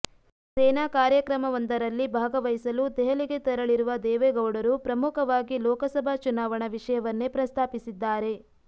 ಸೇನಾ ಕಾರ್ಯಕ್ರಮವೊಂದರಲ್ಲಿ ಭಾಗವಹಿಸಲು ದೆಹಲಿಗೆ ತೆರಳಿರುವ ದೇವೇಗೌಡರು ಪ್ರಮುಖವಾಗಿ ಲೋಕಸಭಾ ಚುನಾವಣಾ ವಿಷಯವನ್ನೇ ಪ್ರಸ್ತಾಪಿಸಿದ್ದಾರೆ